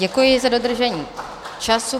Děkuji za dodržení času.